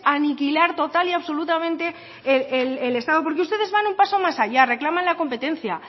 aniquilar total y absolutamente el estado porque ustedes van un paso más allá reclaman la competencia